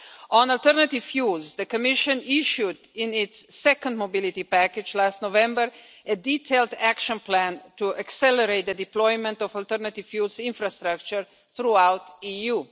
On alternative fuels, the Commission issued, in its second mobility package last November, a detailed action plan to accelerate the deployment of alternative fuels infrastructure throughout the EU.